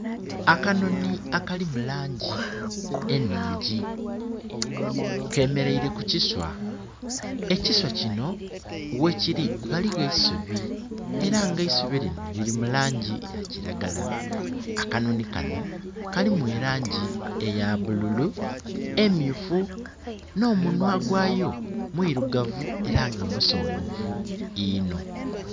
Akanoni akali mulangi eningi kemereire ku kiswa. Ekiswa kino we kiri waliwo eisubi era nga eisubi lino liri mulangi ya kiragala. Akanoni kano kalimu elangi eya bululu, emyufu no munwa gwayo mwirugavu era nga musongovu inho.